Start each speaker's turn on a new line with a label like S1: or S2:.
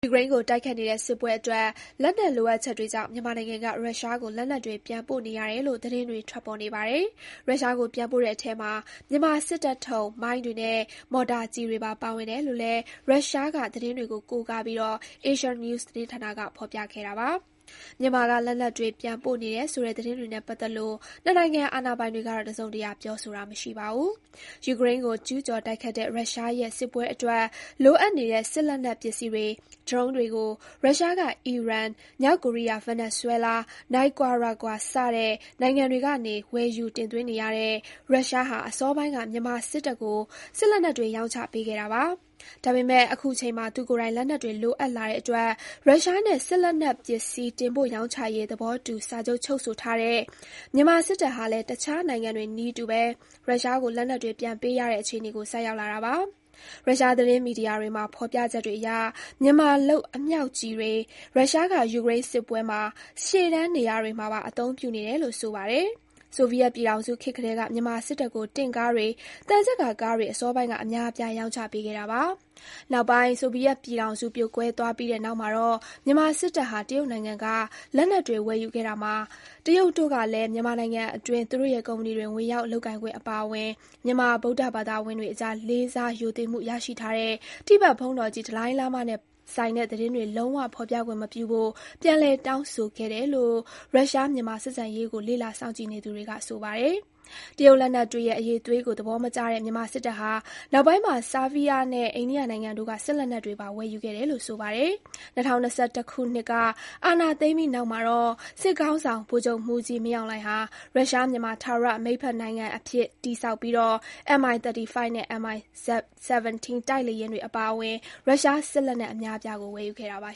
S1: ယူကရိန်းကို တိုက်ခိုက်နေတဲ့ စစ်ပွဲအတွက် လက်နက်လိုအပ်ချက်တွေကြောင့် မြန်မာနိုင်ငံက ရုရှားကို လက်နက်တွေ ပြန်ပို့နေရတယ်လို့ သတင်းတွေ ထွက်ပေါ်နေပါတယ်။ ရုရှားကို ပြန်ပို့တဲ့အထဲမှာ မြန်မာစစ်တပ်ထုတ် မိုင်းတွေနဲ့ မော်တာကျည်တွေပါ ပါဝင်တယ်လို့လည်း ရုရှားက သတင်းတွေကို ကိုးကားပြီး Asia News သတင်းဌာနက ဖော်ပြခဲ့တာပါ။ မြန်မာက လက်နက်တွေ ပြန်ပို့နေတယ်ဆိုတဲ့ သတင်းတွေနဲ့ ပတ်သက်လို့ ၂ နိုင်ငံ အာဏာပိုင်တွေကတော့ တစုံတရာ ပြောဆိုတာ မရှိပါဘူး။ ယူကရိန်းကို ကျူးကျော် တိုက်ခိုက်တဲ့ ရုရှားရဲ့ စစ်ပွဲအတွက် လိုအပ်နေတဲ့ စစ်လက်နက်ပစ္စည်းတွေ၊ ဒရုန်းယာဉ်တွေကို ရုရှားက အီရန်၊ မြောက်ကိုရီးယား၊ ဗင်နီဇွဲလား၊ နိုင်ကွာရာဂွာ စတဲ့ နိုင်ငံတွေကနေ ဝယ်ယူတင်သွင်းနေရတဲ့ ရုရှားဟာ အစောပိုင်းက မြန်မာစစ်တပ်ကို စစ်လက်နက်တွေ ရောင်းချပေးခဲ့တာပါ။ ဒါပေမယ့် အခုချိန်မှာ သူကိုယ်တိုင် လက်နက်တွေ လိုအပ်လာတဲ့အတွက် ရုရှားနဲ့ စစ်လက်နက်ပစ္စည်း တင်ပို့ရောင်းချရေး သဘောတူ စာချုပ်ချုပ်ဆိုထားတဲ့ မြန်မာစစ်တပ်ဟာလည်း တခြားနိုင်ငံတွေနည်းတူ ရုရှားကို လက်နက်တွေ ပြန်ပေးရတဲ့ အခြေအနေကို ဆိုက်ရောက်လာတာပါ။ ရုရှားသတင်းမီဒီယာတွေမှာ ဖော်ပြချက်တွေအရ မြန်မာလုပ် အမြောက်ကျည်တွေ ရုရှားက ယူကရိန်းစစ်ပွဲ ရှေ့တန်းနေရာတွေမှာပါ အသုံးပြုနေတယ်လို့ ဆိုပါတယ်။ ဆိုဗီယက်ပြည်ထောင်စုခေတ်ကတည်းက မြန်မာစစ်တပ်ကို တင့်ကားတွေ၊ သံချပ်ကာကားတွေ အစောပိုင်းက အများအပြား ရောင်းချပေးခဲ့တာပါ။ နောက်ပိုင်း ဆိုဗီယက်ပြည်ထောင်စု ပြိုကွဲသွားပြီးတဲ့နောက်မှာတော့ မြန်မာစစ်တပ်ဟာ တရုတ်နိုင်ငံက လက်နက်တွေ ဝယ်ယူခဲ့တာမှာ တရုတ်တို့ကလည်း မြန်မာနိုင်ငံအတွင်း သူတို့ရဲ့ကုမ္ပဏီတွေ ဝင်ရောက် လုပ်ကိုင်ခွင့်အပါအဝင် မြန်မာ ဗုဒ္ဓဘာသာဝင်တွအကြား လေးစားရိုသေမှုရရှိထားတဲ့ တိဘက်ဘုန်းတော်ကြီး ဒလိုင်းလားမားနဲ့ဆိုင်တဲ့ သတင်းတွေ လုံးဝဖော်ပြခြင်းမပြုဖို့ ပြန်လည် တောင်းဆိုခဲ့တယ်လို့ ရုရှား-မြန်မာ ဆက်ဆံရေးကို လေ့လာ စောင့်ကြည့်နေသူတွေက ဆိုပါတယ်။ တရုတ်လက်နက်တွေရဲ့ အရည်အသွေးကို သဘောမကျတဲ့ မြန်မာစစ်တပ်ဟာ နောက်ပိုင်းမှာ ဆားဘီးယားနဲ့ အိန္ဒိယနိုင်ငံတို့က စစ်လက်နက်တွေပါ ဝယ်ယူခဲ့တယ်လို့ ဆိုပါတယ်။ ၂၀၂၁ ခုနှစ်က အာဏာသိမ်းပြီးတဲ့နောက်မှာတော့ စစ်ခေါင်းဆောင် ဗိုလ်ချုပ်မှူးကြီး မင်းအောင်လှိုင်ဟာ ရုရှား-မြန်မာ ထာဝရ မိတ်ဘက်နိုင်ငံအဖြစ် တည်ဆောက်ပြီး Mi-35 နဲ့ Mi-17 တိုက်လေယာဉ်တွေအပါအဝင် ရုရှားစစ်လက်နက် အများအပြားကို ဝယ်ယူခဲ့ပါ